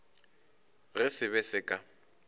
ge se be se ka